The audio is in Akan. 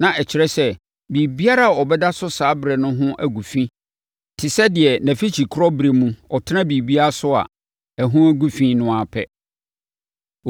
na ɛkyerɛ sɛ, biribiara a ɔbɛda so saa ɛberɛ no ho agu fi te sɛ deɛ nʼafikyikɔ berɛ mu ɔtena biribi so a, ɛho gu fi no ara pɛ.